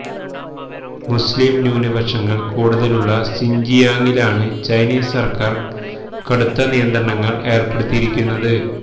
മുസ്ലിം ന്യൂനപക്ഷങ്ങൾ കൂടുതലുളള സിൻജിയാങ്ങിലാണ് ചൈനീസ് സർക്കാർ കടുത്ത നിയന്ത്രണങ്ങൾ ഏർപ്പെടുത്തിയിരിക്കുന്നത്